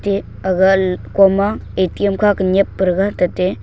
a aga kom ma A_T_M kha ma nyep para ga tate--